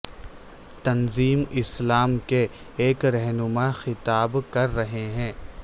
تنظیم اسلام کے ایک رہنما خطاب کر رہے ہیں